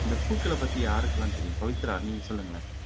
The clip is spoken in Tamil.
இந்த பூக்களை பத்தி யாருக்கெல்லாம் தெரியும் பவித்ரா நீங்க சொல்லுங்களேன்